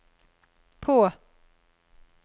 på